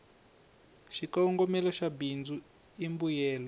xikongomela xa bindzu i mbuyelo